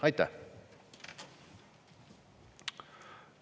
Aitäh!